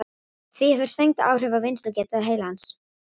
Því hefur svengd áhrif á vinnslugetu heilans.